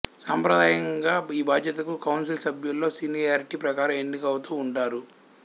సాంప్రదాయికంగా ఈ బాధ్యతకు కౌన్సిల్ సభ్యుల్లో సీనియారిటీ ప్రకారం ఎన్నికౌతూంటారు